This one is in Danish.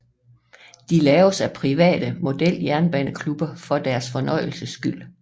De laves af private og modeljernbaneklubber for deres fornøjelses skyld